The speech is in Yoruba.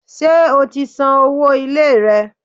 Ṣé o ti san owó ilé rẹ?